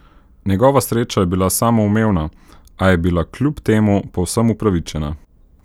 Njegova sreča je bila samoumevna, a je bila kljub temu povsem upravičena.